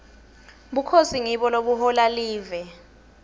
bukhosi ngibo lobuhola live